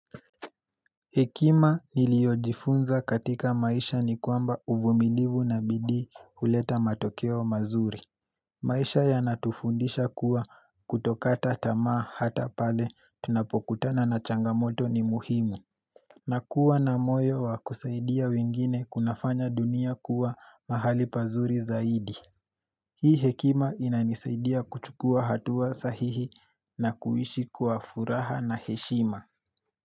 Hekima niliyojifunza katika maisha ni kwamba uvumilivu na bidii huleta matokeo mazuri. Maisha yanatufundisha kuwa kutokata tamaa hata pale tunapokutana na changamoto ni muhimu. Na kuwa na moyo wa kusaidia wengine kunafanya dunia kuwa mahali pazuri zaidi. Hii hekima inanisaidia kuchukua hatua sahihi na kuishi kwa furaha na heshima.